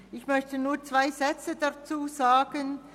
Ich möchte nur zwei Sätze dazu sagen.